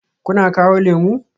Kuna kawo lemu?